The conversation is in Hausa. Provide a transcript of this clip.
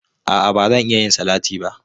A'a, ba zan iya yin salati ba.